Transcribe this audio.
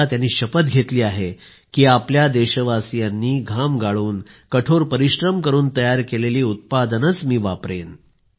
आता त्यांनी शपथ घेतली आहे की आपल्या देशवासीयांनी घाम गाळून कठोर परिश्रम करून तयार केलेली उत्पादनच वापरेन